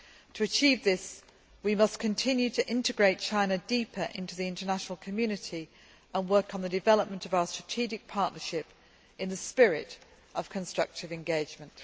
To achieve this, we must continue to integrate China deeper into the international community and work on the development of our strategic partnership in the spirit of constructive engagement.